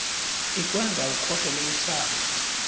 ikwenza ukhohlele ihlaba